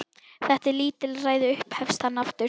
Þetta er lítilræði upphefst hann aftur.